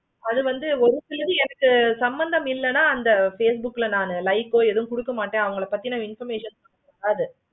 அது வந்து ஒரு சிலது எனக்கு சம்மந்தம் இல்லைனா எனக்கு facebook ல நா like ஆஹ் எதோ கொடுக்க மாட்டேன். அவுங்கள பத்தின information இருக்காது.